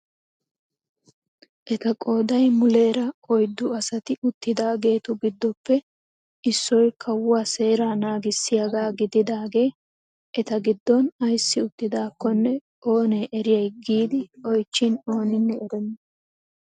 Eta qooday muleera oyddu asati uttidaagetu giddoppe issoy kawuwaa seeraa nagissiyaaga gididagee eta giddon ayssi uttidakonne oonee eriyay giidi oychchin oninne erenna!